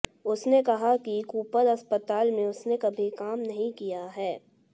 उसने कहा है कि कूपर अस्पताल में उसने कभी काम नहीं किया है